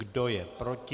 Kdo je proti?